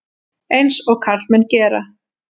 Eins og karlmenn gera.